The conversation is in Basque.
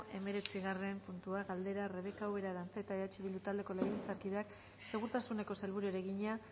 hemeretzigarren puntua galdera rebeka ubera arantzeta eh bildu taldeko legebiltzarkideak segurtasuneko sailburuari egina